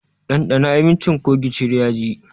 Ɗandana abincin ko gishiri yaji!